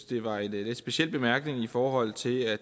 det var en lidt speciel bemærkning i forhold til at